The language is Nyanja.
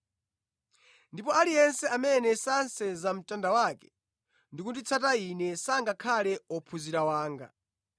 Ndipo aliyense amene sasenza mtanda wake ndi kunditsata Ine sangakhale ophunzira wanga.